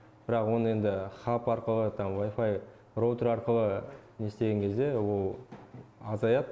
бірақ оны енді хап арқылы там вайфай роутер арқылы нестеген кезде ол азаяды